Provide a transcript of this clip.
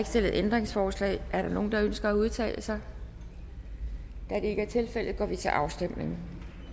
stillet ændringsforslag er der nogen der ønsker at udtale sig da det ikke er tilfældet går vi til afstemning